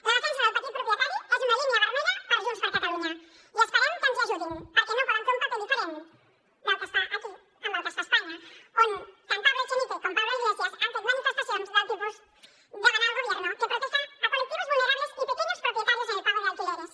la defensa del petit propietari és una línia vermella per a junts per catalunya i esperem que ens hi ajudin perquè no poden fer un paper diferent del que es fa aquí amb el que es fa a espanya on tant pablo echenique com pablo iglesias han fet manifestacions del tipus demanar al gobierno que proteja a colectivos vulnerables y pequeños propietarios en el pago de alquileres